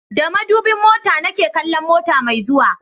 Da madubin mota na ke kallon mota mai zuwa